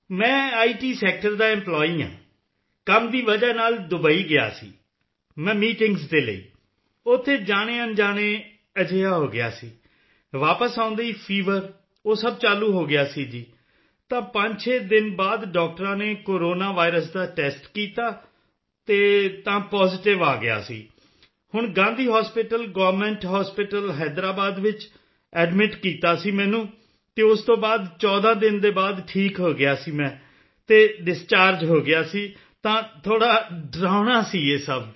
ਮੈਂ IT sector ਦਾ employee ਹਾਂ ਕੰਮ ਦੀ ਵਜ੍ਹਾ ਨਾਲ ਦੁਬਾਈ ਗਿਆ ਸੀ ਮੈਂ ਮੀਟਿੰਗਜ਼ ਦੇ ਲਈ ਉੱਥੇ ਜਾਣੇਅਣਜਾਣੇ ਅਜਿਹਾ ਹੋ ਗਿਆ ਸੀ ਵਾਪਸ ਆਉਂਦੇ ਹੀ ਫੀਵਰ ਉਹ ਸਭ ਚਾਲੂ ਹੋ ਗਿਆ ਸੀ ਜੀ ਤਾਂ 56 ਦਿਨ ਬਾਅਦ ਡਾਕਟਰਾਂ ਨੇ ਕੋਰੋਨਾ ਵਾਇਰਸ ਦਾ ਟੈਸਟ ਕੀਤਾ ਅਤੇ ਤਾਂ ਪਾਜ਼ੀਟਿਵ ਆ ਗਿਆ ਸੀ ਹੁਣ Gandhi hospital government hospital Hyderabad ਵਿੱਚ ਐਡਮਿਟ ਕੀਤਾ ਸੀ ਮੈਨੂੰ ਅਤੇ ਉਸ ਤੋਂ ਬਾਅਦ 14 ਦਿਨ ਦੇ ਬਾਅਦ ਠੀਕ ਹੋ ਗਿਆ ਸੀ ਮੈਂ ਅਤੇ ਡਿਸਚਾਰਜ ਹੋ ਗਿਆ ਸੀ ਤਾਂ ਥੋੜ੍ਹਾ ਡਰਾਉਣਾ ਸੀ ਇਹ ਸਭ